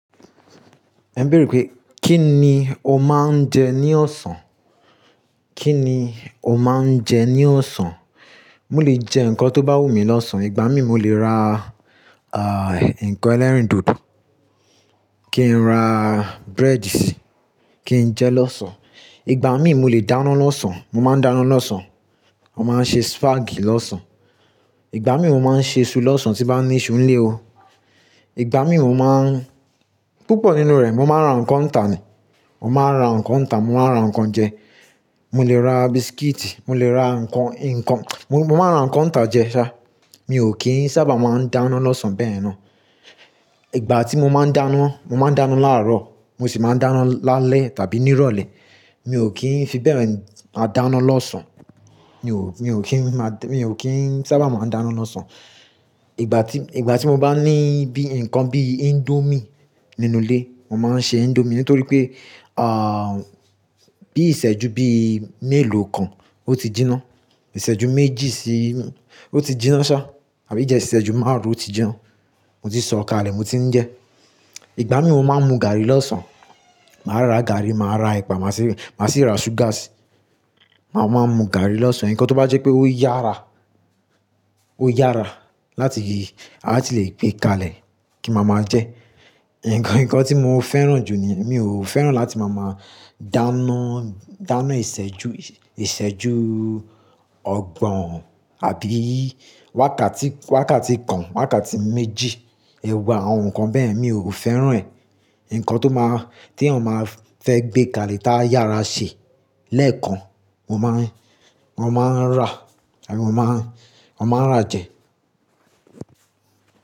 Ẹ n béèrè pé kí ni o máa ń jẹ ní ọ̀sán? Kí ni o máa ń jẹ ní ọ̀sán? Mo lè jẹ nǹkan tó bá wù mí lọ́sàn. Ìgbà mí mo lè ra, ah, nǹkan ẹlẹ́rìndòdò, kí n ra bread si, kí n jẹ lọ́sàn. Ìgbà mí mo lè dáná lọ́sàn, mo máa ń dáná lọ́sàn. Mo máa ń ṣe spag lọ́sàn. Ìgbà mí mo máa ń ṣe isù lọ́sàn tí bá ní iṣu n lé o. Ìgbà mí mo máa ń-- púpọ̀ nínú rẹ̀ mo máa ń ra nǹkan tá ni, mo máa ra nǹkan tá, mo máa ra nǹkan jẹ. Mo lè ra biscuit, mo lè ra nǹkan, nǹkan, mo, mo máa ra nǹkan tá jẹ ṣá. Mi ò kí ń sábà máa ń dáná lọ́sàn bẹ́yẹ̀n náa. Ìgbà tí mo máa ń dáná, mo máa ń dáná láàárọ̀, mo sì máa ń dáná lálẹ́ tàbí nírọ̀lẹ́. Mi ò kí ń fi bẹ́ẹ̀ máa dáná lọ́sàn. Mi ò, mi ò kí ń máa da mi ò kí ń sábà máa ń dáná lọ́sàn. Ìgbà tí, ìgbà tí mo bá ní bí nǹkan bí indomie nínú ilé, mo máa ń ṣe indomie nítorí pé, ah, bí ìṣẹ́jú bí mélòó kan ó ti jinná. Ìṣẹ́jú méjì sí-ún, ó ti jinná ṣá. Tàbí ijẹ Ìsẹ́jú márùn-ún ó ti jẹun. Mo ti sọ̀ kalẹ̀, mo ti ń jẹ. Ìgbà mí mo máa ń mu gàárì lọ́sàn. Màá rà gàárì, màá rà ẹ̀pà, màá sì, màá sì ra sugar si. Màá, màá mu gàárì lọ́sàn. Ǹkan tó bá jẹ́ pé ó yára, ó yára láti la ti le gbé kalẹ̀ kí n ma ma jẹ. Ǹkan, ǹkan tí mo fẹ́ràn jù ni mi ò fẹ́ràn láti máa máa dáná, dáná ìṣẹ́jú, ìṣẹ́jú ọgbọ̀n àbí wákàtí, wákàtí kan, wákàtí méjì. Ẹ̀wà àwọn nǹkan bẹ́ẹ̀ mi ò fẹ́ràn ẹ̀. Ǹkan tó máa, tí èèyàn máa fẹ́ gbé kalẹ̀ tá yára ṣe lẹ́ẹ̀kan, wọn máa ń, wọn máa ń rà tàbí wọn máa ń, wọn máa ń rà jẹ.